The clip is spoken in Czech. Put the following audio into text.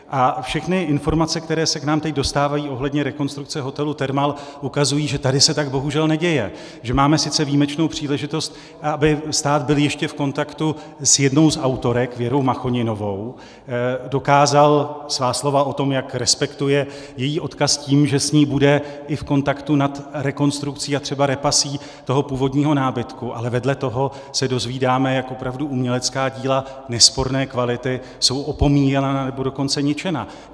A všechny informace, které se k nám teď dostávají ohledně rekonstrukce hotelu Thermal, ukazují, že tady se tak bohužel neděje, že máme sice výjimečnou příležitost, aby stát byl ještě v kontaktu s jednou z autorek, Věrou Machoninovou, dokázal svá slova o tom, jak respektuje její odkaz tím, že s ní bude i v kontaktu nad rekonstrukcí a třeba repasí toho původního nábytku, ale vedle toho se dozvídáme, jak opravdu umělecká díla nesporné kvality jsou opomíjena, nebo dokonce ničena.